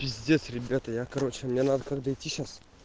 пиздец ребята я короче мне надо дойти сейчас